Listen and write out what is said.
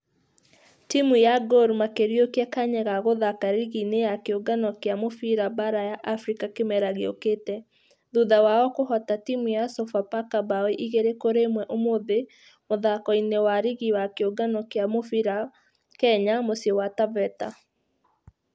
Timũ ya gor makĩriũkia kanya gagũthaka rigi-inĩ ya kĩũngano gĩa mũbira baara ya africa kĩmera gĩũkĩte thutha wao kũhota timũ ya sofapaka bao ĩgĩrĩ kũri ĩmwe ũmũthĩ mũthako-inĩ wa rigi ya kĩũngano gĩa mũbira kenya, mũcĩi wa taveta.